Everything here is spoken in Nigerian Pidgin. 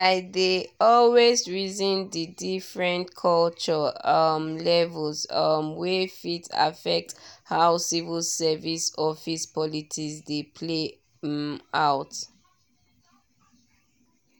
i dey always reason the different culture um levels um wey fit affect how civil service office politics dey play um out.